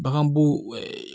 Baganbo